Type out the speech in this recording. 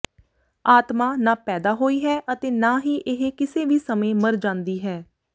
ਆਤਮਾ ਨਾ ਪੈਦਾ ਹੋਈ ਹੈ ਅਤੇ ਨਾ ਹੀ ਇਹ ਕਿਸੇ ਵੀ ਸਮੇਂ ਮਰ ਜਾਂਦੀ ਹੈ